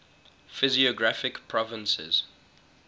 physiographic provinces